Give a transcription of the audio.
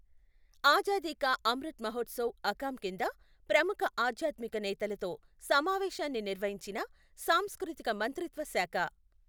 ఆజాదీకా అమృత్ మహోత్సవ్ అకాం కింద ప్రముఖ ఆధ్యాత్మిక నేతలతో సమావేశాన్ని నిర్వహించిన సాంస్కృతిక మంత్రిత్వ శాఖ